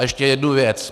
A ještě jednu věc.